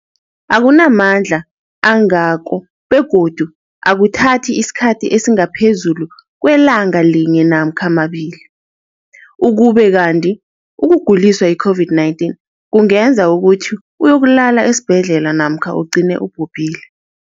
Akunamandla angako begodu akuthathi isikhathi esingaphezulu kwelanga linye namkha mabili, ukube kanti ukuguliswa yi-COVID-19 kungenza ukuthi uyokulala esibhedlela namkha ugcine ubhubhile.